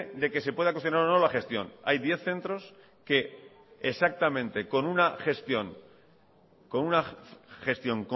de que se pueda cuestionar o no la gestión hay diez centros que exactamente con una gestión